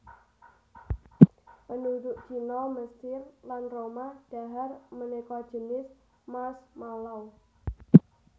Penduduk Cina Mesir lan Roma dhahar maneka jinis marshmallow